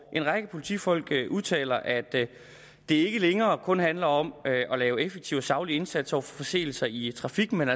en række politifolk udtaler at det ikke længere kun handler om at lave en effektiv og saglig indsats over for forseelser i trafikken men